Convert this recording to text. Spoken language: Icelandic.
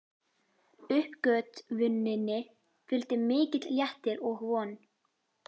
Uppgötvuninni fylgdi mikill léttir og von.